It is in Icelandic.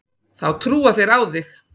Þá trúa þeir á þig.